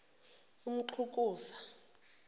umxhukuza